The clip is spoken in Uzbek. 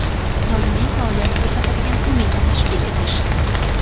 doimiy faoliyat ko‘rsatadigan qo‘mita tashkil etish;.